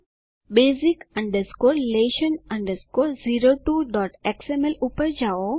Basic lesson 02xml પર જાઓ